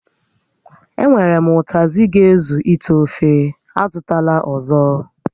E nwèrè m ụtazị ga-ezu íté ofe, a zụtala ọzọ